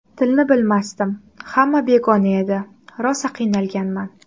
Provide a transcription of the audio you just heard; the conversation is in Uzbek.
Tilni bilmasdim, hamma begona edi, rosa qiynalganman.